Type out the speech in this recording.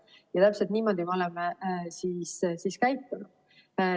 Ja täpselt niimoodi me olemegi käitunud.